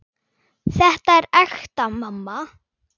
Þetta er ekta mamma!